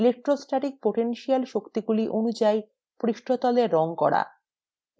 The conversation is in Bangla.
electrostatic potential শক্তিগুলি অনুযায়ী পৃষ্ঠতলের রঙ করা